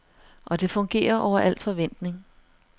Og det fungerer over alt forventning.